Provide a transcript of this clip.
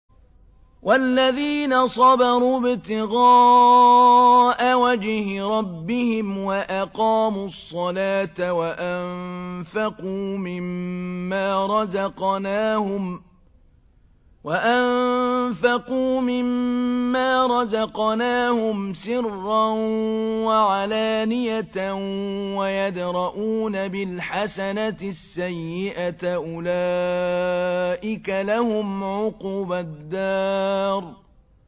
وَالَّذِينَ صَبَرُوا ابْتِغَاءَ وَجْهِ رَبِّهِمْ وَأَقَامُوا الصَّلَاةَ وَأَنفَقُوا مِمَّا رَزَقْنَاهُمْ سِرًّا وَعَلَانِيَةً وَيَدْرَءُونَ بِالْحَسَنَةِ السَّيِّئَةَ أُولَٰئِكَ لَهُمْ عُقْبَى الدَّارِ